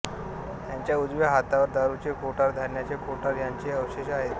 त्याच्या उजव्या हाताला दारूचे कोठार धान्याचे कोठार यांचे अवशेष आहेत